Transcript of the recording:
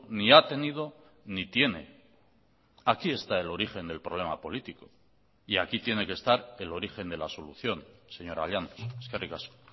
ni ha tenido ni tiene aquí está el origen del problema político y aquí tiene que estar el origen de la solución señora llanos eskerrik asko